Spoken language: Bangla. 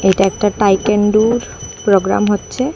এটা একটা টাইকেন্ডুর প্রোগ্রাম হচ্ছে।।